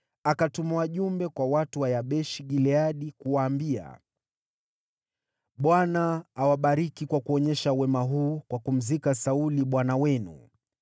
akatuma wajumbe kwa watu wa Yabeshi-Gileadi kuwaambia, “ Bwana awabariki kwa kuonyesha wema huu kwa kumzika Sauli bwana wenu.